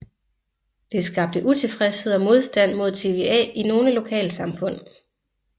Det skabte utilfredshed og modstand mod TVA i nogle lokalsamfund